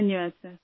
धन्यवाद सर